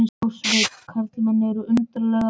Já, Svenni, karlmenn eru undarlegar verur.